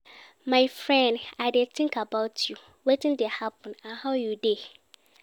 My friend, i dey think about you, wetin dey happen and how you dey?